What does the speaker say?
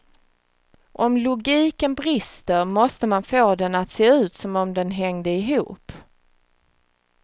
Om logiken brister, måste man få den att se ut som om den hängde ihop.